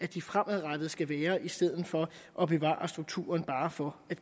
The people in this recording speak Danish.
de fremadrettet skal være i stedet for at bevare strukturen bare for at